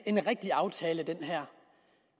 en rigtig aftale